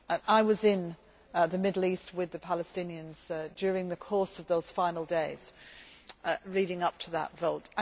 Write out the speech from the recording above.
I was in the Middle East with the Palestinians during the course of those final days leading up to that vote.